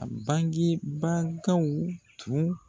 A bange bagaw tun